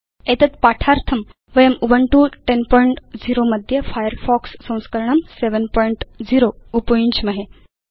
एतत्पाठार्थं वयं उबुन्तु 1004 मध्ये फायरफॉक्स संस्करणं 70 उपयुञ्ज्महे